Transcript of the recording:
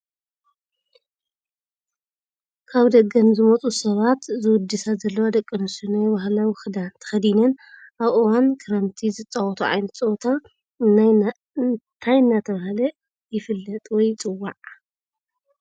ካብ ደገ ንዝመፁ ሰባት ዝውድሳ ዘለዋ ደቂ ኣስትዮ ናይ ባህላዊ ክዳን ተከዲነን ኣብ እዋን ክርምቲ ዝፀወቶኦ ዓይነት ፀወታ እንታይ እናተባህለ ይፍፀል ወይ ይፅዋዕ?